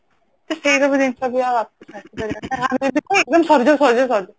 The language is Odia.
ତ ସେଇ ସବୁ ଜିନିଷ ବି ଆମେ ଯଦି କୁହେ exam ସରିଯାଉ ସରିଯାଉ ସରିଯାଉ